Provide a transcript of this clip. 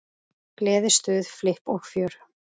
Gleði, stuð, flipp og fjör.